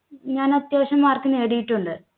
ഞാൻ അത്യാവശ്യം mark നേടിയിട്ടുണ്ട്